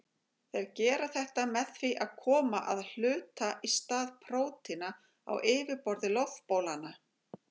Þeir gera þetta með því að koma að hluta í stað prótína á yfirborði loftbólanna.